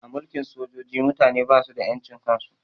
A mulkin sojoji mutane basu da ƴan cin kan su